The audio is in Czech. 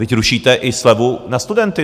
Vždyť rušíte i slevu na studenty!